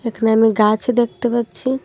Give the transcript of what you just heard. এখানে আমি গাছ দেখতে পাচ্ছি।